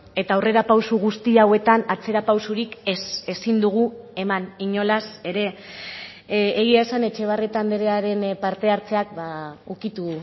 eta aurrerapauso guzti hauetan atzerapausorik ez ezin dugu eman inolaz ere egia esan etxebarrieta andrearen partehartzeak ukitu